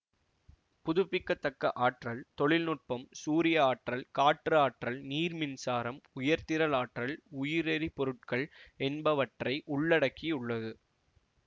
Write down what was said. புதுப்பிக்க தக்க ஆற்றல் தொழில்நுட்பம் சூரிய ஆற்றல் காற்று ஆற்றல் நீர்மின்சாரம் உயிர்த்திரள் ஆற்றல் உயிரெரிபொருட்கள் என்பவற்றை உள்ளடக்கி உள்ளது